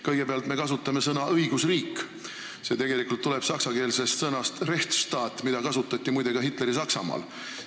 Kõigepealt, me kasutame sõna "õigusriik", mis tegelikult tuleb saksakeelsest sõnast Rechtsstaat, mida kasutati muide ka Hitleri-Saksamaal.